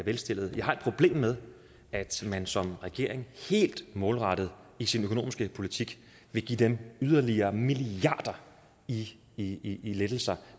velstillede jeg har et problem med at man som regering helt målrettet i sin økonomiske politik vil give dem yderligere milliarder i i lettelser